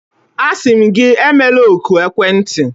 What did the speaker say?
Asị m gị, emela oku ekwentị!